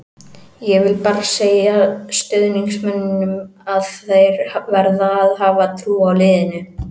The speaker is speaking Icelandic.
Ég vil bara segja stuðningsmönnunum að þeir verða að hafa trú á liðinu.